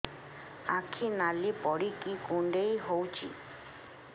ଆଖି ନାଲି ପଡିକି କୁଣ୍ଡେଇ ହଉଛି